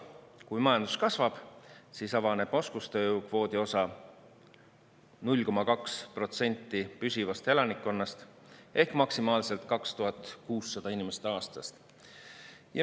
Kui majandus kasvab, siis avaneb oskustööjõu kvoodi osa 0,2% püsivast elanikkonnast ehk maksimaalselt 2600 inimest aastast.